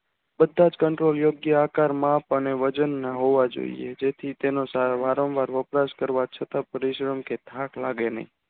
બધાજ control યોગ્ય આકાર map અને વજનના હોવા જોઇએ તેથી તેને વારંવાર rox કરવા છતાં પરિશ્રમ કે થાક લાગે નહિ